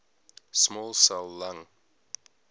small cell lung